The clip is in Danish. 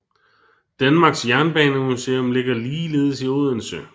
Danmarks Jernbanemuseum ligger ligeledes i Odense